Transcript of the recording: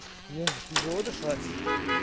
бля тяжело дышать